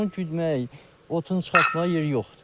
Onu güdməyə, otun çıxartmağa yeri yoxdur.